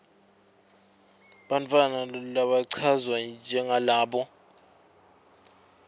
bantfwana labachazwa njengalabo